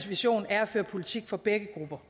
vision er at føre politik for begge grupper